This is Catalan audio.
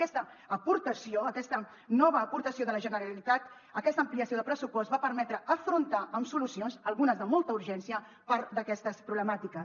aquesta aportació aquesta nova aportació de la generalitat aquesta ampliació de pressupost va permetre afrontar amb solucions algunes de molta urgència part d’aquestes problemàtiques